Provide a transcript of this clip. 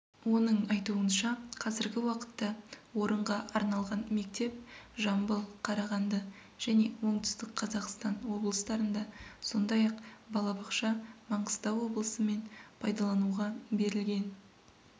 оның айтуынша қазіргі уақытта орынға арналған мектеп жамбыл қарағанды және оңтүстік қазақстан облыстарында сондай-ақ балабақша маңғыстау облысы мен пайдалануға берілген